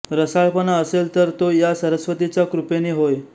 रसाळपणा असेल तर तो या सरस्वतीचा कृपेने होय